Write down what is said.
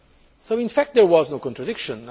So, in fact, there was no contradiction.